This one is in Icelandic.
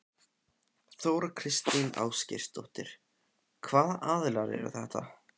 Þóra Kristín Ásgeirsdóttir: Hvaða aðilar eru þetta?